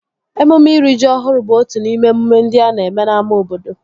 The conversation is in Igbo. Emume iri ji ọhụrụ bụ otu n'ime emume ndị a na-eme n'ámá obodo